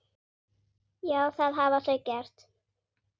Já, það hafa þau gert.